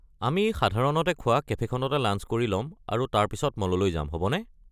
আমি সাধাৰণতে যোৱা কেফে'খনতে লাঞ্চ কৰি ল’ম আৰু তাৰ পিছত মললৈ যাম হ’বনে?